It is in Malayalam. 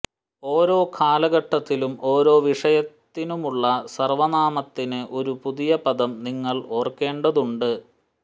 ഓരോ കാലഘട്ടത്തിലും ഓരോ വിഷയത്തിനുമുള്ള സർവ്വനാമത്തിന് ഒരു പുതിയ പദം നിങ്ങൾ ഓർക്കേണ്ടതുണ്ട്